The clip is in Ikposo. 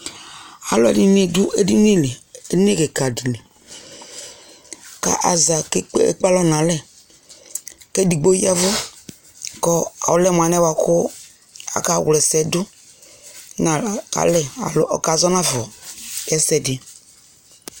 alʋɛdini dʋ ɛdini li, ɛdini kikaa dili kʋ aza kʋ ɛkpè alɔ nʋ alɛ kɛ ɛdigbɔ yavʋ kʋ ɔlɛ mʋalɛ bʋakʋ aka wla ɛsɛdʋ nʋ alɛ alɔ ɔkazɔ naƒa ɛsɛdi